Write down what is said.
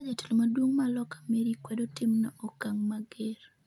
ka jatelo maduong' ma loka Mary kwedo timno okang' mager